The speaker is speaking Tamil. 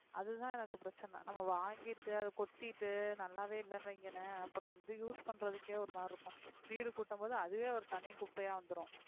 அதுதான் எனக்கு பிரச்சனை நம்ம வாங்கிட்டு அதை கொட்டிட்டு நல்லாவே இல்லைன்னு வைங்களேன் அப்புறம் வந்து use பண்றதுக்கே ஒரு மாதிரி இருக்கும் வீடு கூட்டும்போது அதுவே ஒரு தனி குப்பையா வந்துரும்